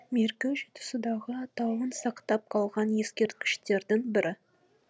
меркі жетісудағы атауын сақтап қалған ескерткіштердің бірі